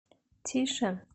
тише